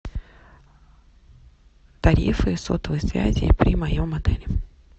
тарифы сотовой связи при моем отеле